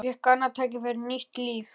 Ég fékk annað tækifæri, nýtt líf.